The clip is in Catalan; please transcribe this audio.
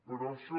però això